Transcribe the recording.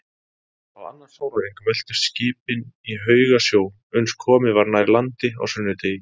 Á annan sólarhring veltust skipin í haugasjó, uns komið var nær landi á sunnudegi.